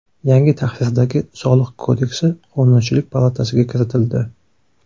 Yangi tahrirdagi Soliq kodeksi Qonunchilik palatasiga kiritildi.